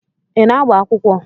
Ị na-agba akwụkwọ?